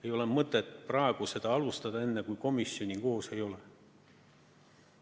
Ei ole mõtet praegu seda alustada, enne kui komisjoni koos ei ole.